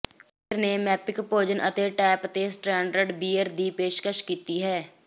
ਪੀਟ ਨੇ ਮੈਪਿਕ ਭੋਜਨ ਅਤੇ ਟੈਪ ਤੇ ਸਟੈਂਡਰਡ ਬੀਅਰ ਦੀ ਪੇਸ਼ਕਸ਼ ਕੀਤੀ ਹੈ